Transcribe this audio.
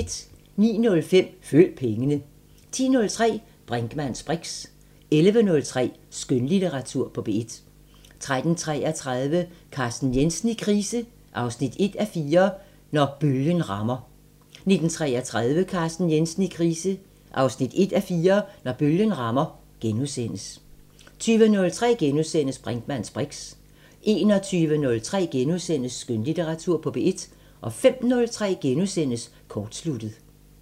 09:05: Følg pengene 10:03: Brinkmanns briks 11:03: Skønlitteratur på P1 13:33: Carsten Jensen i krise 1:4 – Når bølgen rammer 19:33: Carsten Jensen i krise 1:4 – Når bølgen rammer * 20:03: Brinkmanns briks * 21:03: Skønlitteratur på P1 * 05:03: Kortsluttet *